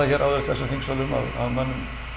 áður í þessum þingsölum að mönnum